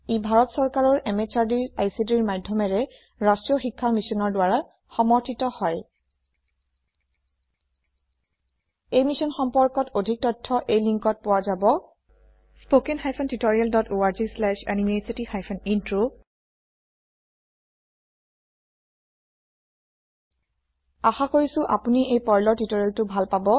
ই ভাৰত সৰকাৰৰ MHRDৰ ICTৰ মাধ্যমেৰে ৰাষ্ট্ৰীয় শীক্ষা Missionৰ দ্ৱাৰা সমৰ্থিত হয় এই মিছন সম্পৰ্কে অধিক তথ্য এই linkত পোৱা যাব spoken hyphen tutorial dot org slash এনএমইআইচিত হাইফেন ইন্ট্ৰ আশা কৰিছো আপুনি এই পাৰ্ল টিওটৰিয়েলটো ভাল পাব